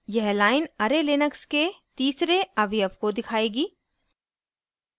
यह line array Linux के तीसरे अवयव को दिखाएगी